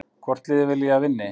Hvort liðið vil ég að vinni?